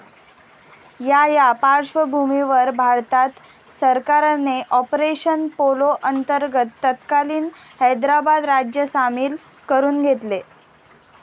या या पार्श्वभूमीवर भारत सरकारने ऑपरेशन पोलो अंतर्गत तत्कालीन हैदराबाद राज्य सामील करून घेतले